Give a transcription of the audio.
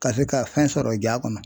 Ka se ka fɛn sɔrɔ ja kɔnɔ